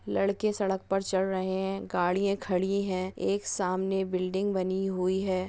लड़के सड़क परचल रहे है गाड़िया खड़ी है एक सामने बिल्डिंग बनी- हुई हे।